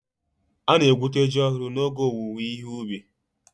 Ana-egwute ji ọhụrụ n'oge ge owuwe ihe ubi.